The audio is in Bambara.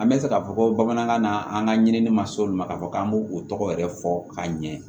An bɛ se k'a fɔ ko bamanankan na an ka ɲinini ma s'o ma k'a fɔ k'an b'o o tɔgɔ yɛrɛ fɔ ka ɲɛ